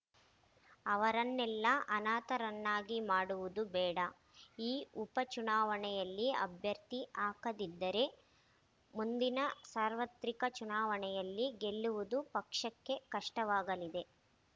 ಅವರನ್ನೆಲ್ಲ ಅನಾಥರನ್ನಾಗಿ ಮಾಡುವುದು ಬೇಡ ಈ ಉಪ ಚುಣಾವಣೆಯಲ್ಲಿ ಅಭ್ಯರ್ಥಿ ಹಾಕದಿದ್ದರೆ ಮುಂದಿನ ಸಾರ್ವತ್ರಿಕ ಚುಣಾವಣೆಯಲ್ಲಿ ಗೆಲ್ಲುವುದು ಪಕ್ಷಕ್ಕೆ ಕಷ್ಟವಾಗಲಿದೆ